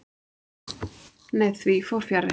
Nei, því fór fjarri.